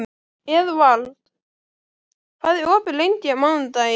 Eðvald, hvað er opið lengi á mánudaginn?